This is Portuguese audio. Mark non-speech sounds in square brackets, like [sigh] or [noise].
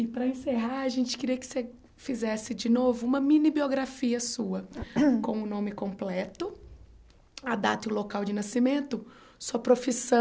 E para encerrar, a gente queria que você fizesse de novo uma mini-biografia sua [coughs] com o nome completo, a data e o local de nascimento, sua profissão,